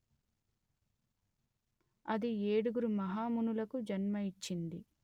అది ఏడుగురు మహా మునులకు జన్మ ఇచ్చింది